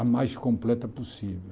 A mais completa possível.